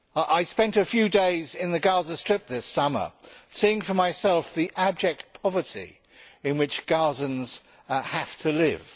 I spent a few days in the Gaza Strip this summer seeing for myself the abject poverty in which Gazans have to live.